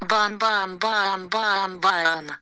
бам-бам-бам бам-бам-бам